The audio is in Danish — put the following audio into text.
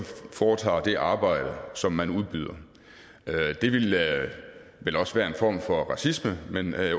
foretager det arbejde som man udbyder det ville vel også være en form for racisme men når det